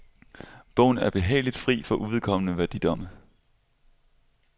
Bogen er behageligt fri for uvedkommende værdidomme.